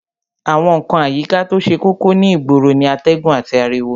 Àwọn ǹkan àyíká to ṣe kókó ní ìgboro ni atẹ́gùn àti ariwo